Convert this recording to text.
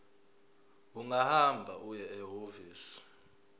ungahamba uye ehhovisi